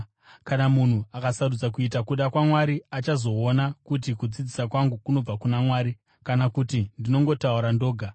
Kana munhu akasarudza kuita kuda kwaMwari, achazoona kuti kudzidzisa kwangu kunobva kuna Mwari kana kuti ndinongotaura ndoga.